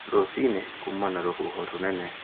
Rũciinĩ kuma na rũhhuho rũnene